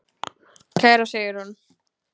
Kæra Sigrún.